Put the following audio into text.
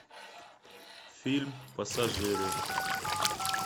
фильм пассажиры